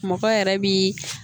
Mɔgɔ yɛrɛ bi